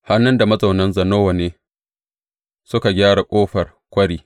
Hanun da mazaunan Zanowa ne suka gyara Ƙofar Kwari.